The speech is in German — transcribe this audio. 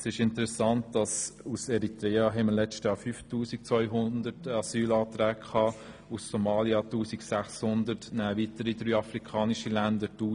Es ist interessant, dass wir im vergangen Jahr 5200 Asylanträge aus Eritrea hatten, während es aus Somalia 1600 waren sowie 1000 aus weiteren afrikanischen Ländern.